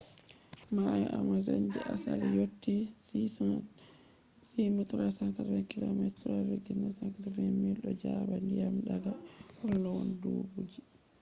mayo amazon je asali yotti 6387km3,980 miles. do jaba ndiyam daga walowon dubuji